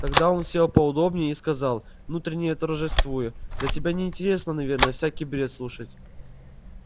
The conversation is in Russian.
тогда он сел поудобнее и сказал внутренне торжествуя да тебе не интересно наверное всякий бред слушать